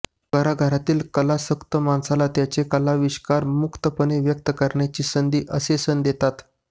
घराघरातल्या कलासक्त माणसाला त्यांचा कलाविष्कार मुक्तपणे व्यक्त करण्याची संधी असे सण देतात